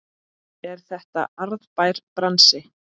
Er þetta arðbær bransi?